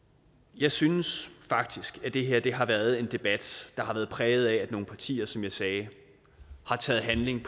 jeg synes faktisk at det her har været en debat der har været præget af at nogle partier som jeg sagde har taget handling i